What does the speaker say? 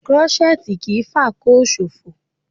Krọ́ṣẹ́tì kì í fàkóò ṣòfò